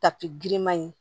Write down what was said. Tapi giriman in